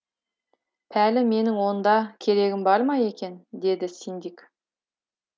пәлі менің онда керегім бар ма екен деді синдик